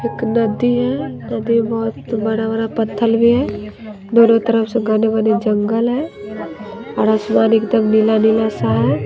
एक नदी है नदी में बहोत बरा बरा पत्थल भी है दोनों तरफ से घने-बने जंगल है और आसमान एकदम नीला-नीला सा है।